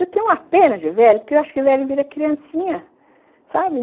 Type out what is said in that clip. Eu tenho uma pena de velho, porque eu acho que o velho vira criancinha, sabe?